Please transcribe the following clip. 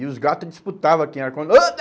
E os gatos disputavam aqui.